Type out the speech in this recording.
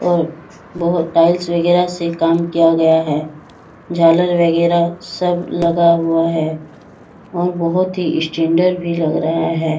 और बहोत टाइल्स वगैरा से काम किया गया है झालर वगैरा सब लगा हुआ है और बहोत ही स्टैंडर्ड भी लग रहा है।